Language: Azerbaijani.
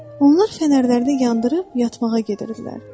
Onlar fənərləri yandırıb yatmağa gedirdilər.